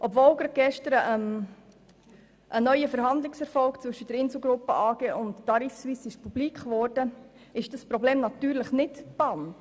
Obwohl gerade gestern ein neuer Verhandlungserfolg zwischen der Insel Gruppe AG und der Tarifsuisse AG publik wurde, ist das Problem natürlich nicht gebannt.